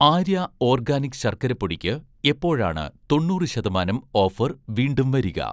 Arya' organic ശർക്കര പൊടിക്ക് എപ്പോഴാണ് തൊണ്ണൂറ് ശതമാനം ഓഫർ വീണ്ടും വരിക?